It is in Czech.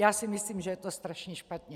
Já si myslím, že je to strašně špatně.